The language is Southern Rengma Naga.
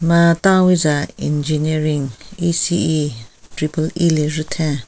Ha ta witsa engineering ECE triple EEE le getheng.